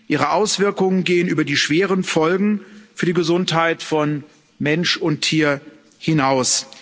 Ihre Auswirkungen gehen über die schweren Folgen für die Gesundheit von Mensch und Tier hinaus.